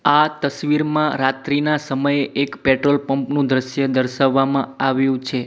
આ તસવીરમાં રાત્રિના સમયે એક પેટ્રોલ પંપ નું દ્રશ્ય દર્શાવવામાં આવ્યું છે.